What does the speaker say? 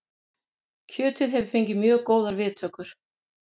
Kjötið hefur fengið mjög góðar viðtökur